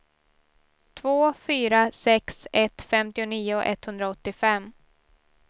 två fyra sex ett femtionio etthundraåttiofem